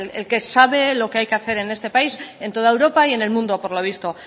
el que sabe lo que hay que hacer en este país en toda europa y en el mundo por lo visto